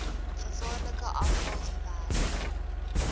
gevaarlike afval gewerk